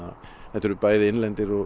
þetta eru bæði innlendir og